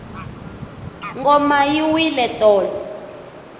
ngoma yi wile tolo